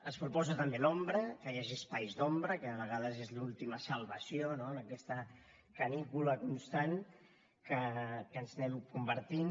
es proposa també l’ombra que hi hagi espais d’ombra que de vegades és l’última salvació no en aquesta canícula constant en què ens anem convertint